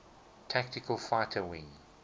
tactical fighter wing